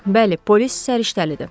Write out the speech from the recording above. Bəli, polis səriştəlidir.